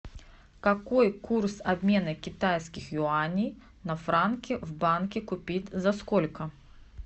какой курс обмена китайских юаней на франки в банке купить за сколько